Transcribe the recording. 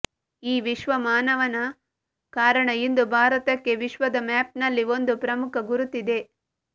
ಈ ವಿಶ್ವ ಮಾನವನ ಕಾರಣ ಇಂದು ಭಾರತಕ್ಕೆ ವಿಶ್ವದ ಮ್ಯಾಪ್ನಲ್ಲಿ ಒಂದು ಪ್ರಮುಖ ಗುರುತಿದೆ